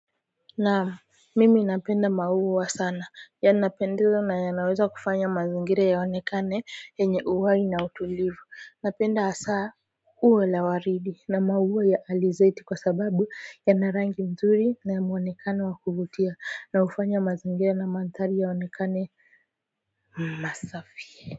Naam mimi napenda maua sana yanapendeza na yanaweza kufanya mazingira yaonekane yenye uhai na utulivu napenda hasa uwe la waridi na maua ya alizeti kwa sababu yanarangi mzuri na mwonekane wa kuvutia na hufanya mazingira na manthari yaonekane masafi.